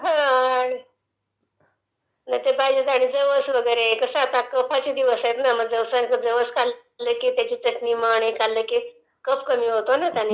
हो........ आता तसं पाहिलं तर जवसवगैरे खाते...कस आता कफाचे दिवसं आहेत ना ...जवसं खाल्ल किंवा त्याची चटणी हे खाल्ल की कफ कमी होतो